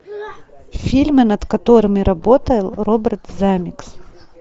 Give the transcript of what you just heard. фильмы над которыми работал роберт земекис